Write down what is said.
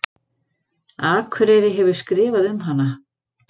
Akureyri hefur skrifað um hana.